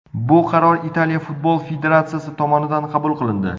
Bu qaror Italiya futbol federatsiyasi tomonidan qabul qilindi.